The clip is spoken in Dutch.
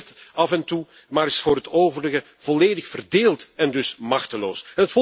Die reageert af en toe maar is voor het overige volledig verdeeld en dus machteloos.